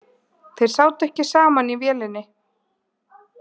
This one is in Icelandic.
Þeir sátu ekki saman í vélinni